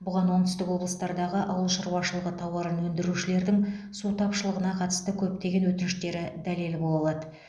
бұған оңтүстік облыстардағы ауыл шаруашылығы тауарын өндірушілердің су тапшылығына қатысты көптеген өтініштері дәлел бола алады